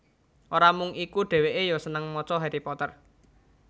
Ora mung iku dhèwèkè ya seneng maca Harry Potter